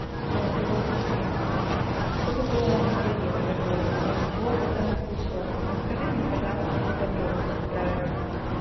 голосовой ассистент что такое ранний заезд в отеле я ничего об этом не слышала расскажи мне пожалуйста все подробности про это